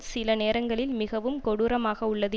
சில நேரங்களில் மிகவும் கொடூரமாகவுள்ளது